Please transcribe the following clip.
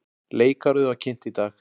Leikárið var kynnt í dag.